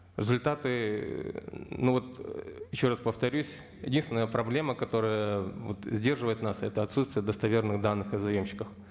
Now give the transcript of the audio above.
результаты ну вот еще раз повторюсь единственная проблема которая вот сдерживает нас это отсутствие достоверных данных о заемщиках